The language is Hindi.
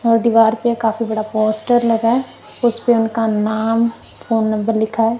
और दीवार पे काफी बड़ा पोस्टर लगा है उस पे उनका नाम फोन नंबर लिखा है।